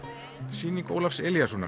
sýning Ólafs Elíassonar